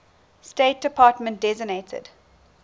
state department designated